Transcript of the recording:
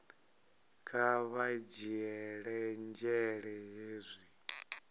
kha vha dzhiele nzhele hezwi